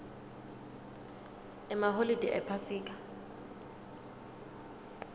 emaholide ephasika